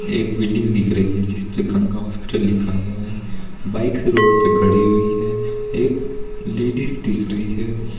एक बिल्डिंग दिख रही है जिस पे गंगा हॉस्पिटल लिखा हुआ है बाइक रोड पे खड़ी हुई है एक लेडिज दिख रही है।